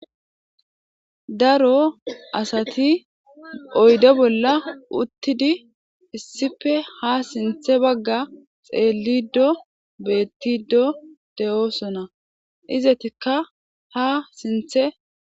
Daro asati oyde bola utidi issippe ha sinthe baga xelido betido, de'osona izetika ha sinthe xelosona